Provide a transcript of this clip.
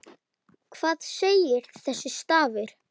Hvað segir þessi stafur?